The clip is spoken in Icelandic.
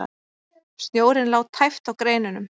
Snjórinn lá tæpt á greinunum.